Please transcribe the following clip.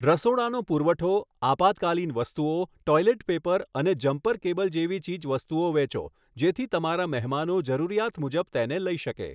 રસોડાનો પુરવઠો, આપાતકાલીન વસ્તુઓ, ટૉઇલેટ પેપર અને જમ્પર કેબલ જેવી ચીજવસ્તુઓ વેચો જેથી તમારા મહેમાનો જરૂરિયાત મુજબ તેને લઈ શકે.